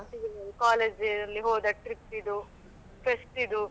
College dayಅಲ್ಲಿ ಹೋದ trip ಇದ್ದು fest ಇದ್ದು.